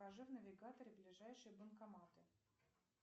покажи в навигаторе ближайшие банкоматы